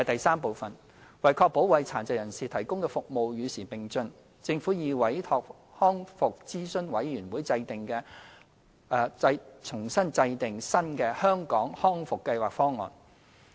三為確保為殘疾人士提供的服務與時並進，政府已委託康復諮詢委員會制訂新的《香港康復計劃方案》。